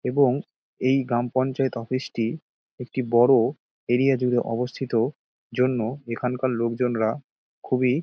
এবং এই গ্রাম পঞ্চায়েত অফিস -টি একটি বড় এরিয়া জুড়ে অবস্থিত জন্য এখানকার লোকজনরা খুবই --